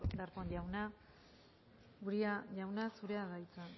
darpón jauna uria jauna zurea da hitza